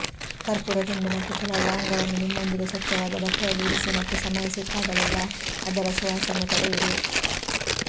ಕರ್ಪೂರ ತುಂಡು ಮತ್ತು ಕೆಲವು ಲವಂಗವನ್ನು ನಿಮ್ಮೊಂದಿಗೆ ಸ್ವಚ್ಚವಾದ ಬಟ್ಟೆಯಲ್ಲಿ ಇರಿಸಿ ಮತ್ತು ಸಮಯ ಸಿಕ್ಕಾಗಲೆಲ್ಲಾ ಅದರ ಸುವಾಸನೆ ಪಡೆಯಿರಿ